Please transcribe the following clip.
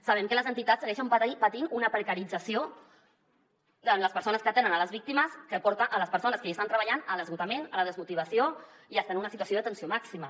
sabem que les entitats segueixen patint una precarització en les persones que atenen les víctimes que porta les persones que hi estan treballant a l’esgotament a la desmotivació i a estar en una situació de tensió màxima